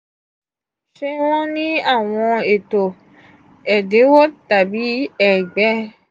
ṣe wọn ni awọn eto ẹdinwo tàbí ẹgbẹ?